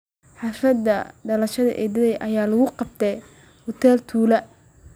Xaflada dhalashada eedaday ayaa lagu qabtay hotel tule